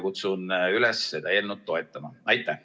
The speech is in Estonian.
Kutsun üles seda eelnõu toetama!